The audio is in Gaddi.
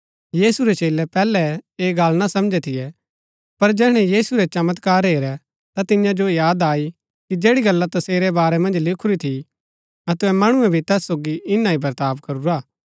यीशु रै चेलै पैहलै ऐह गल्ल ना समझै थियै पर जैहणै यीशु रै चमत्कार हेरै ता तियां जो याद आई कि जैड़ी गल्ला तसेरै बारै मन्ज लिखूरी थी अतै मणुऐ भी तैस सोगी ईना ही बर्ताव करूरा